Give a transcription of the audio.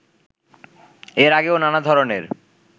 এর আগেও নানা ধরণের